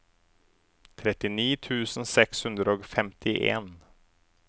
trettini tusen seks hundre og femtien